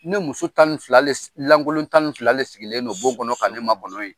Ne muso tan ni fila len Lankolon tan ni fila len sigilen don bon kɔnɔ ka ne makɔnɔn yen.